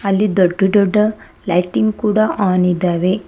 ಅಲ್ಲಿ ದೊಡ್ಡ ದೊಡ್ಡ ಲೈಟಿಂಗ್ ಕೂಡ ಆನ್ ಇದಾವೆ.